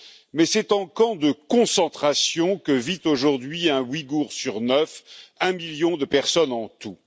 Mais c'est en camp de concentration que vit aujourd'hui un Ouïgour sur neuf, un million de personnes en tout.